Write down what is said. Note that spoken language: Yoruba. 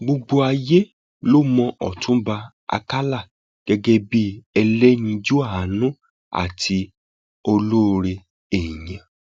gbogbo ayé ló mọ ọtúnba àkàlà gẹgẹ bíi ẹlẹyinjú àánú àti ọlọrẹ èèyàn